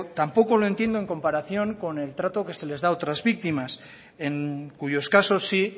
tampoco lo entiendo en comparación con el trato que se le da a otras víctimas en cuyos caso sí